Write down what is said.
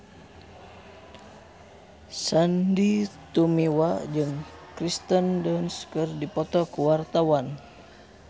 Sandy Tumiwa jeung Kirsten Dunst keur dipoto ku wartawan